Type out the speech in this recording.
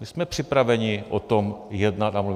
My jsme připraveni o tom jednat a mluvit.